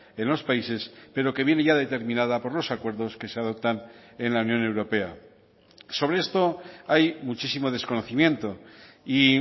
en los países pero que viene ya determinada por los acuerdos que se adoptan en la unión europea sobre esto hay muchísimo desconocimiento y